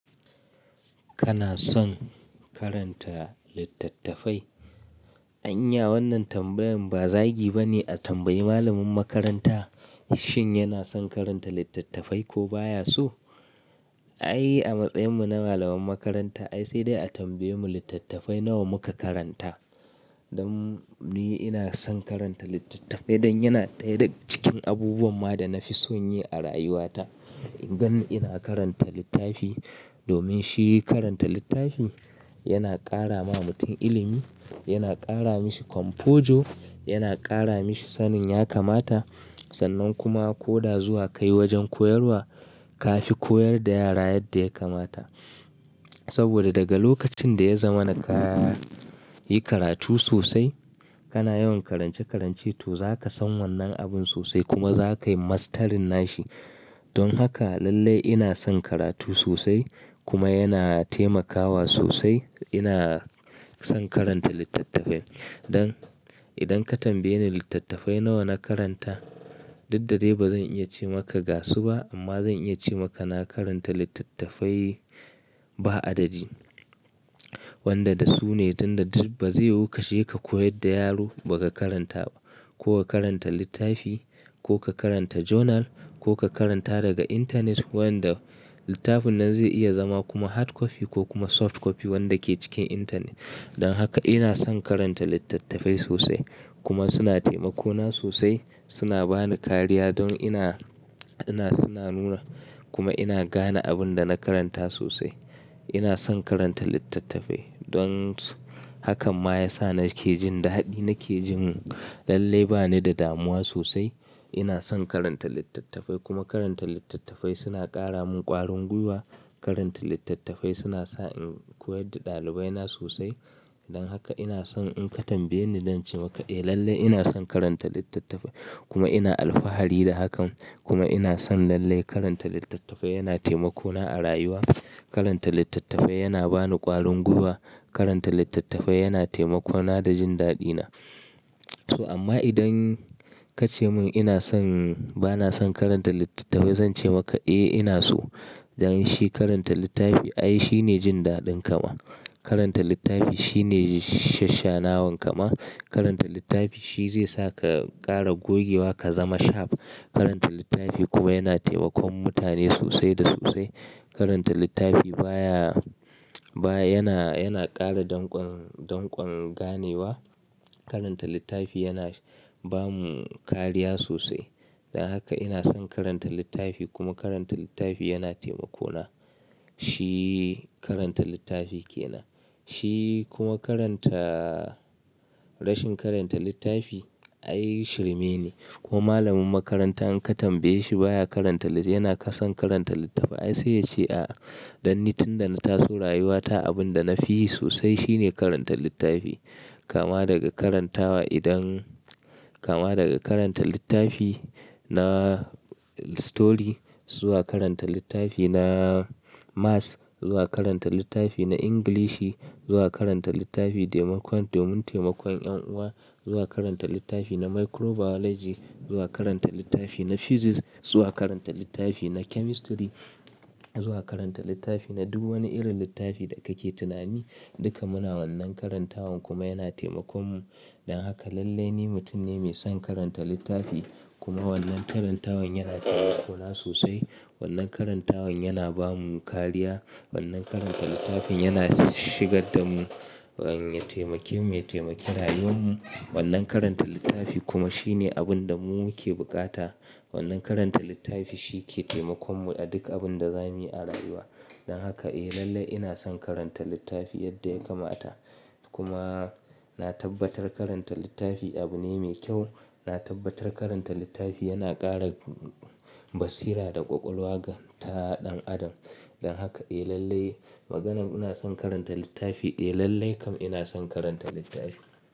Kana son karanta littattafai? Anya wannan tambayin ba zagi ba ne a tambayi malamin makaranta shin yana son karanta littattafai ko baya so? Ai a matsayinmu na malamai makaranta ai sai dai a tambaye mu littattafai nawa muka karanta. Don ni ina son karanta littattafai dan yana ɗaya cikin abubuwan ma da na fi son yi a rayuwata. In gan ina karanta littafi domin shi karanta littafi yana ƙara ma mutum ilimi, yana ƙara mashi kwamfojo, yana ƙara mashi sanin ya kamata. Sannan kuma ko da zuwa kai wajen koyarwa ka fi koyar da yara yadda ya kamata. Saboda daga lokacin da ya zamana ka yi karatu sosai, kana yawan karance-karance to zaka san wannan abun sosai kuma zaka yi mastarin nashi. Don haka lallai ina son karatu sosai kuma yana taimakawa sosai. Ina son karanta littattafai. Don idan ka tambaye ni littattafai nawa na karanta, dud dadai ba zan iya ce maka ga su ba amma zan iya ce maka na karanta littattafai ba adadi. Wanda da su ne don tunda ba zai yiwu ka shiga ka koyar da yaro ba ka karanta ba, ko ka karanta littafi ko ka karanta journal ko ka karanta daga intanet wanda littafin nan zai iya zama kuma hard copy ko kuma soft copy wanda ke cikin intanet. Don haka ina son karanta littattafai sosai kuma suna taimako na sosai, suna bani kariya don ina, ina suna nuna kuma ina gane abin da na karanta sosai. Ina son karanta littattafai don hakan ma ya sa nake jin daɗi, nake jin lallai bani da damuwa sosai. Ina son karanta littattafai kuma karanta littattafai suna ƙara mun ƙwarin gwiwa. Karanta littattafai suna sa in koyar da ɗalibai na sosai. Don haka ina son in ka tambaye ni dan ce maka eh lallai ina son karanta littattafai kuma ina alfahari da hakan kuma ina son lallai karanta littattafai yana taimako na a rayuwa. Karanta littattafai yana bani ƙwarin gwiwa. Karanta littattafai yana taimako na da jin daɗi na. To amma idan ka ce mun ina son, ba na son karanta littattafai zan ce maka eh ina so. Dan shi karanta littafi ai shi ne jin daɗin kama. Karanta littafi shi ne shashanawan kama. Karanta littafi shi zai sa ka ƙara gogewa ka zama sharp. Karanta littafi kuma yana taimakon mutane sosai da sosai. Karanta littafi baya, baya yana, yana ƙara danƙon, danƙon ganewa. Karanta littafi yana bamu kariya sosai. Don haka ina son karanta littafi kuma karanta littafi yana taimako na. Shi karanta littafi ke nan. Shi kuma karanta-- rashin karanta littafi ai shirme ne. Ko malamin makaranta in ka tambaye shi baya karanta lit yana ka son karanta littattafai ai sai ya ce a'a. Don ni tun da na taso rayuwata abin da na fi yi sosai shi ne karanta littafi. Kama daga karantawa idan, kama daga karanta littafi na story zuwa karanta littafi na maths zuwa karanta littafi na Ingilishi zuwa karanta littafi taimakon, domin taimakon ƴan uwa zuwa karanta littafi na microbiology zuwa karanta littafi na physics zuwa karanta littafi na chemistry zuwa karanta littafi na duk wani irin littafi da kake tunani. Duka muna wannan karantawan kuma yana taimakon mu. Don haka lallai ni mutum ne mai son karanta littafi kuma wannan karantawan yana taimako na sosai. Wannan karantawan yana ba mu kariya. Wannan karanta littafin yana shigar da mu, ya taimake mu, ya taimake rayuwar mu. Wannan karanta littafi kuma shi ne abin da mu muke buƙata. Wannan karanta littafi shi ke taimakon mu a duk abun da zamuyi a rayuwa. Don haka eh lallai ina son karanta littafi yadda ya kamata. Kuma na tabbatar karanta littafi abu ne mai kyau. Na tabbatar karanta littafi yana ƙara basira da ƙwaƙwalwa ga ta ɗan adam. Don haka eh lallai maganan ina son karanta littafi eh lallai kam ina son karanta littafi.